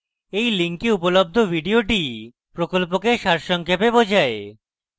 এই link উপলব্ধ video প্রকল্পকে সারসংক্ষেপে বোঝায়